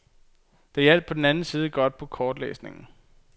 Det hjalp på den anden side godt på kortlæsningen.